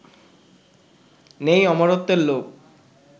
নেই অমরত্বের লোভ